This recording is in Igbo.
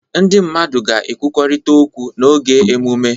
Ndị mmadụ ga-ekwurịta okwu n'oge emume.